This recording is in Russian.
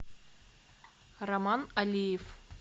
роман алиев